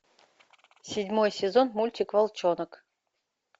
седьмой сезон мультик волчонок